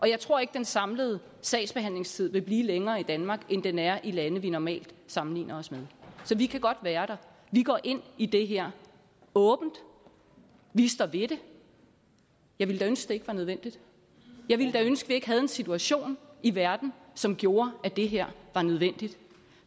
jeg tror ikke den samlede sagsbehandlingstid vil blive længere i danmark end den er i lande vi normalt sammenligner os med så vi kan godt være der vi går ind i det her åbent vi står ved det jeg ville da ønske det ikke var nødvendigt jeg ville da ønske vi ikke havde en situation i verden som gjorde at det her var nødvendigt